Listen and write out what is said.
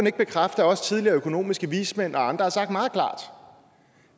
ikke bekræfte at også tidligere økonomiske vismænd og andre har sagt meget klart